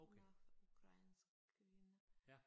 Hun er ukrainsk kvinde